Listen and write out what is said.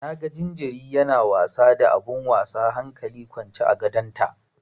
Na ga jariri yana wasa da abun wasa hankali kwance a gadonta.